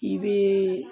I be